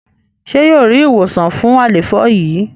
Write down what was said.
ṣe yíò rí ìwòsàn fún àléfọ yí?